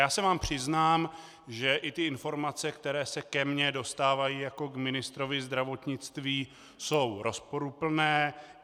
Já se vám přiznám, že i ty informace, které se ke mně dostávají jako k ministrovi zdravotnictví, jsou rozporuplné.